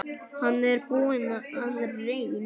Hann er búinn að reyn